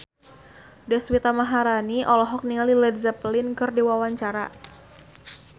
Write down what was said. Deswita Maharani olohok ningali Led Zeppelin keur diwawancara